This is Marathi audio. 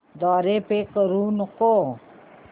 द्वारे पे करू नको